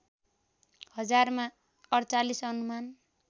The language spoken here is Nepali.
हजारमा ४८ अनुमान